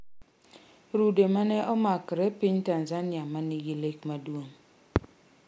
Rude mane omakre piny Tanzania ma nigi lek maduong'.